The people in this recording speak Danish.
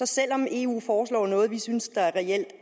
selv om eu foreslår noget vi synes der reelt